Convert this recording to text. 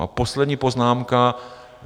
A poslední poznámka.